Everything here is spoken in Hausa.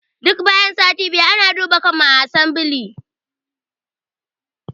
Duk bayan sati biyu ana duba kanmu a asambile